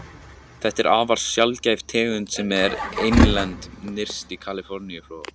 Þetta er afar sjaldgæf tegund sem er einlend nyrst í Kaliforníuflóa.